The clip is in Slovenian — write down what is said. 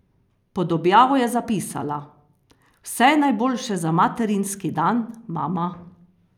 Pod objavo je zapisala: "Vse najboljše za materinski dan, mama.